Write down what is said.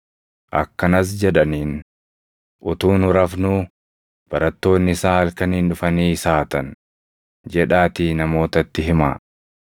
Akkanas jedhaniin; “ ‘Utuu nu rafnuu barattoonni isaa halkaniin dhufanii isa hatan’ jedhaatii namootatti himaa.